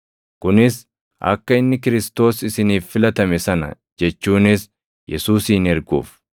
kunis akka inni Kiristoos isiniif filatame sana jechuunis Yesuusin erguuf.